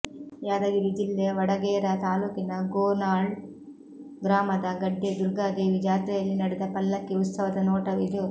ಯಾದಗಿರಿ ಜಿಲ್ಲೆ ವಡಗೇರ ತಾಲೂಕಿನ ಗೋನಾಳ್ ಗ್ರಾಮದ ಗಡ್ಡೆ ದುರ್ಗಾದೇವಿ ಜಾತ್ರೆಯಲ್ಲಿ ನಡೆದ ಪಲ್ಲಕ್ಕಿ ಉತ್ಸವದ ನೋಟವಿದು